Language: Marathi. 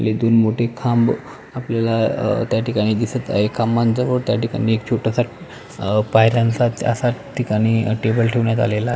हे दोन मोठे खांब आपल्याला त्या ठिकाणी दिसत आहे त्याठिकाणी छोट्या पायांचा टेबल ठेवण्यात आलेला आहे.